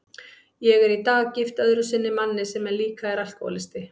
Ég er í dag gift öðru sinni manni sem líka er alkohólisti.